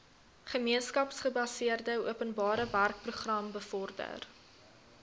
gemeenskapsgebaseerde openbarewerkeprogram bevorder